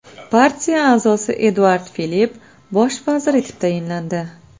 Partiya a’zosi Eduard Filipp bosh vazir etib tayinlandi.